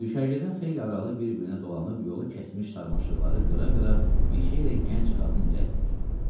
Düşərgədən xeyli aralı bir-birinə dolanıb yolu kəsmiş sarmaşıqları qıra-qıra meşəyə gənc qadın irəliləyirdi.